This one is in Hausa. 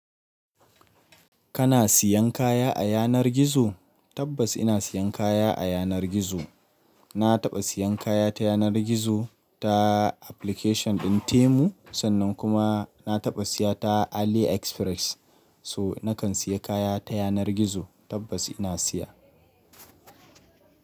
Kana siyan kaya a yanar gizo? Tabbas ina siyan kaya a yanar gizo. Na taɓa siyan kaya ta yanar gizo ta application ɗin Temu sannan kuma na taɓa siya ta AliExpress. So nakan siya kaya ta yanar gizo tabbas ina siya.